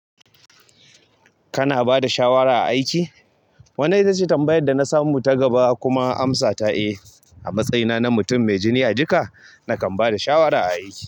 Kana bada shawara a aiki? Wannan ita ce tambayar da na samu ta gaba kuma amsa ta, "Eh, a matsayina na mutum mai jini a jika, nakan ba da shawara a aiki."